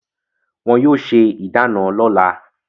Wọn yóò se ìdána lọ́la.